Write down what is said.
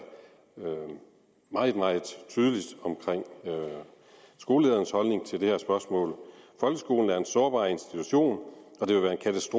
meget meget tydeligt om skoleledernes holdning til det her spørgsmål folkeskolen er en sårbar institution